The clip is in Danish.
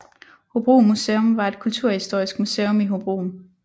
Hobro Museum var et kulturhistorisk museum i Hobro